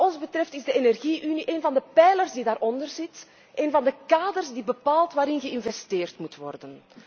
Wat ons betreft is de energie unie één van de pijlers die daaronder zit, één van de kaders die bepaalt waarin geïnvesteerd moet worden.